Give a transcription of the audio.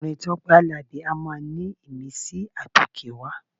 Orin Tọ́pẹ́ Àlàbí a máa ní ìmísí àtòkèwá.